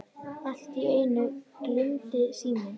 Allt í einu glumdi síminn.